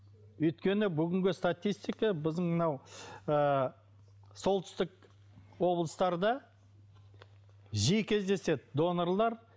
өйткені бүгінгі статистика біздің мынау ыыы солтүстік облыстарда жиі кездеседі донорлар